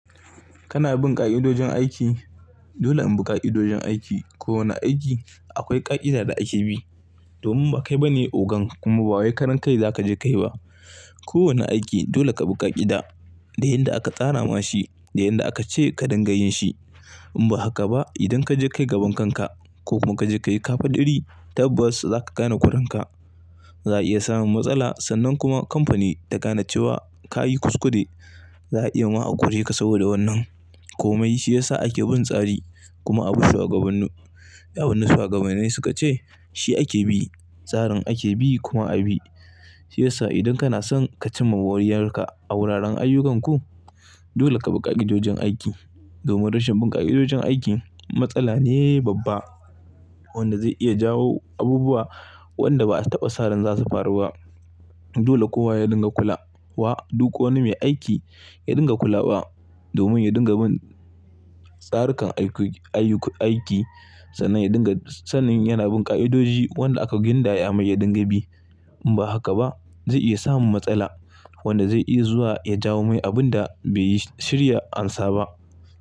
Kana bin ƙa'idojin aiki? Dole in bi ƙa'idojin aiki. Ko wane aiki akwai ƙa'ida da ake bi. Domin ba kai ba ne ogan kuma ba wai karan kai za ka je kai ba. Ko wane aiki dole ka bi ƙa'ida da yadda aka tsara ma shi, da yadda aka ce ka dinga yin shi. In ba haka ba idan ka je ka yi gabankan ka ko kuma ka je ka yi kafaɗiri tabbas za ka gane kuranka. Za a iya samun matsala sannan kuma kamfani ta gane cewa ka yi kuskude. Za a iya ma a kore ka saboda wannan. Komai shi ya sa ake bin tsari kuma abu shugabannu, yawannu shugabanai suka ce shi ake bi. Tsarin ake bi kuma a bi. Shi ya sa idan kana son ka cimma moriyar ka a wuraren ayyukanku, dole ka bi ƙa'idojin aiki. Domin rashin bin ƙa'idojin aiki matsala ne babba wanda zai iya jawo abubuwa wanda ba a taba sa'ran zasu faru ba. Dole kowa ya dinga kula wa. Duk wani mai aiki ya dinga kula wa domin ya dinga bin tsarikan aiki sannan ya dinga sanin yana bin ƙa'idoji wanda aka gindaya mai ya dinga bi. In ba haka ba zai iya samun matsala wanda zai iya zuwa ya jawo mai abin da bai yi shirya ansa ba.